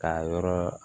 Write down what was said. K'a yɔrɔ